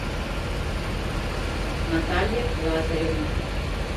наталья лазаревна